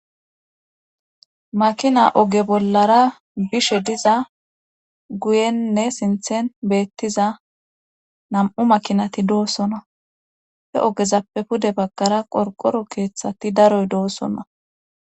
Makinay oge bollara bishe diza Guyenne sinthe beettiza namuu makinati doosona he ogezapee pude baggara qorqqoro keethati daro doosona